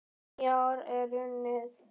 Nýár er runnið!